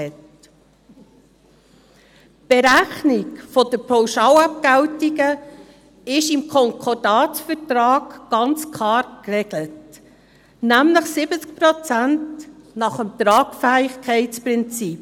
Die Berechnung der Pauschalabgeltungen ist im Konkordatsvertrag ganz klar geregelt, nämlich mit 70 Prozent nach dem Tragfähigkeitsprinzip.